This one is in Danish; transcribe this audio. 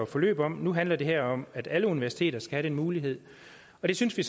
forløb om nu handler det her om at alle universiteter skal have den mulighed og det synes vi